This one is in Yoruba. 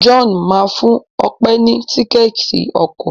John má fún Òpe ní Tíkẹ́ẹ̀tì ọkọ̀.